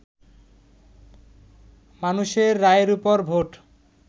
মানুষের রায়ের ওপর ভোট